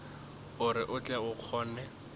gore o tle o kgone